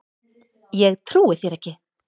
Ég trúi þér ekki!